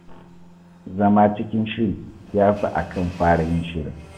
Zama cikin shiri shi ya fi a kan fara yin shiri.